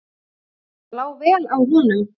Það lá vel á honum.